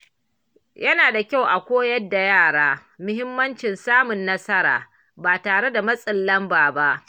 Yana da kyau a koyar da yara mahimmancin samun nasara ba tare da matsin lamba ba.